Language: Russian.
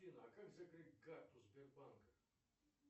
афина а как закрыть карту сбербанка